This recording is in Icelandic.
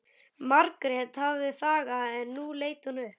Margrét hafði þagað en nú leit hún upp.